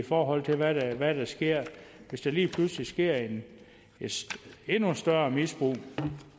forhold til hvad hvad der sker hvis der lige pludselig sker et endnu større misbrug